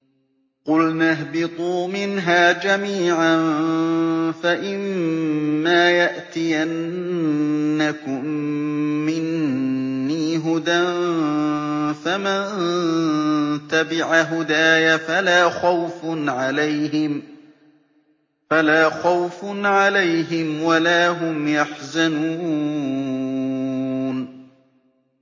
قُلْنَا اهْبِطُوا مِنْهَا جَمِيعًا ۖ فَإِمَّا يَأْتِيَنَّكُم مِّنِّي هُدًى فَمَن تَبِعَ هُدَايَ فَلَا خَوْفٌ عَلَيْهِمْ وَلَا هُمْ يَحْزَنُونَ